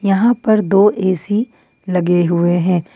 यहां पर दो ए_सी लगे हुए हैं।